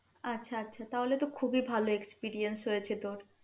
আচ্ছা আচ্ছা তাহলে তো খুবই ভাল experience হয়েছে তোর